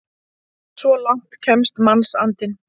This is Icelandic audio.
Svo langt kemst mannsandinn!